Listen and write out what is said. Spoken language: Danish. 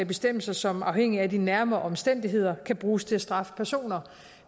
bestemmelser som afhængigt af nærmere omstændigheder kan bruges til at straffe personer